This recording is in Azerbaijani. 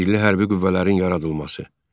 Milli hərbi qüvvələrin yaradılması.